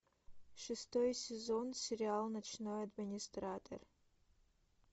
шестой сезон сериал ночной администратор